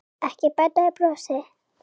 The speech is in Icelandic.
Ekki bæta við brosi.